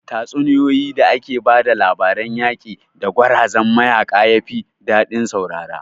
Tatsuniyoyin da ake ba da labarun yaƙi da gwarazan mayaƙa yafi daɗin saurare